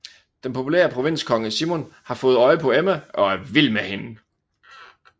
Den populære provinskonge Simon har fået øje på Emma og er vild med hende